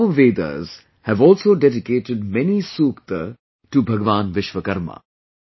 Our Vedas have also dedicated many sookta to Bhagwan Vishwakarma